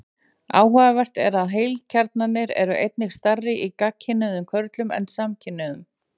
Áhugavert er að heilakjarnarnir eru einnig stærri í gagnkynhneigðum körlum en samkynhneigðum.